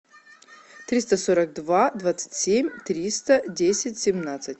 триста сорок два двадцать семь триста десять семнадцать